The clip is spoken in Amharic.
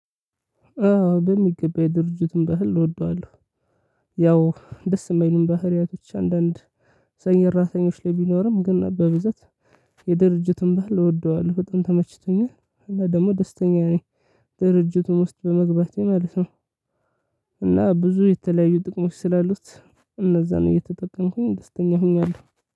አዎ በሚገባ የድርጅቱን ባህል እወደዋለሁ። ያው ደስ የማይልም ባህሪያቶች አንዳንድ ሰራተኞች ላይ ቢኖርም ግን በብዛት የድርጅቱን ባህል እወደዋለሁ በጣም ተመችቶኛል። እና ደግሞ ደስተኛ ነኝ ድርጅቱን ውስጥ በመግባቴ ማለት ነው። እና ብዙ የተለያዩ ጥቅሞች ስላሉት እነዛን እየተጠቀምኩኝ ደስተኛ ሆኛለሁ።